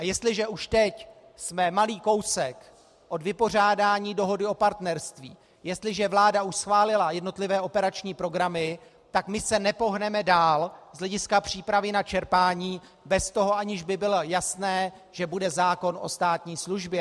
A jestliže už teď jsme malý kousek od vypořádání dohody o partnerství, jestliže už vláda schválila jednotlivé operační programy, tak my se nepohneme dál z hlediska přípravy na čerpání bez toho, aniž by bylo jasné, že bude zákon o státní službě.